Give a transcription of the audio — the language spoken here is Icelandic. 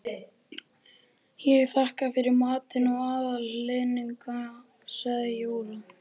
Ég þakka fyrir matinn og aðhlynninguna sagði Jóra.